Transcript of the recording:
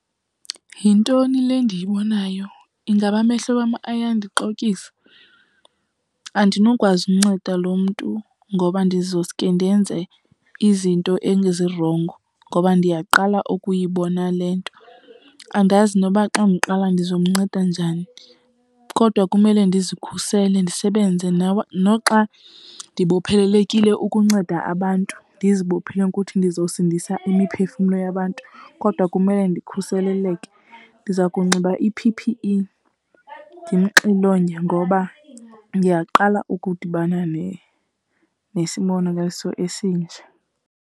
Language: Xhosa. Yintoni le ndiyibonayo? Ingaba amehlo wam ayandixokisa? Andinokwazi unceda loo mntu ngoba ndizosuke ndenze izinto ezirongo ngoba ndiyaqala ukuyibona le nto. Andazi noba xa ndiqala ndizomnceda njani kodwa kumele ndizikhusele, ndisebenze. Noxa ndibophelelekile ukunceda abantu, ndizibophile ukuthi ndizosindisa imiphefumlo yabantu kodwa kumele ndikhuseleleke. Ndiza kunxiba i-P_P_E, ndimxilonge ngoba ndiyaqala ukudibana nesibonakaliso esinje.